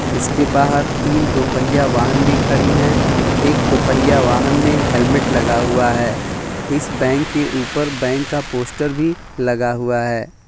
इसके बहार तीन दो पहिया वाहन भी खड़ी है एक दो पहिया वाहन में हेलमेट लगा हुआ है इस बैंक के ऊपर बैंक का पोस्टर भी लगा हुआ है।